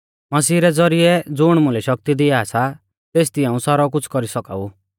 मसीह रै ज़ौरिऐ ज़ुण मुलै शक्ति दिआ सा तेसदी हाऊं सारौ कुछ़ कौरी सौका ऊ